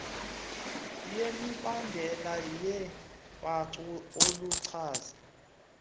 yemibandela yeembacu oluchaza